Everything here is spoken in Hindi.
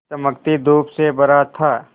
चमकती धूप से भरा था